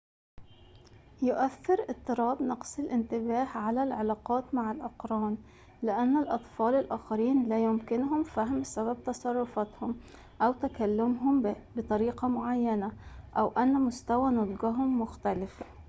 يؤثر اضطراب نقص الانتباه على العلاقات مع الأقران لأن الأطفال الآخرين لا يمكنهم فهم سبب تصرفاتهم أو تكلمهم بطريقة معينة أو أن مستوى نضجهم مختلف